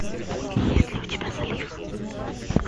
есть ли у тебя залив